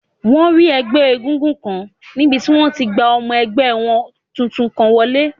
Wọ́n rí ẹgbẹ́ égúngún kan níbi tí wọ́n ti n gba ọmọ ẹgbẹ́ wọn tuntun kan wọlé